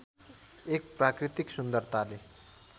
एक प्राकृतिक सुन्दरताले